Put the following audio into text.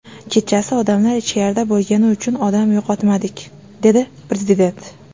Kechasi odamlar ichkarida bo‘lgani uchun odam yo‘qotmadik”, dedi Prezident.